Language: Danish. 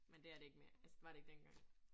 Men det er det ikke mere, altså det var det ikke dengang